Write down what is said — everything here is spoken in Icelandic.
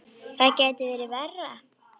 Það gæti ekki verið verra.